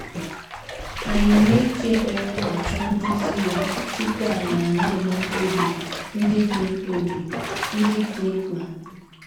Ànyị na - eji ekpere achọ nduzi ya tupu anyị ana - eme mkpebi ndị dị mkpebi ndị dị mkpa?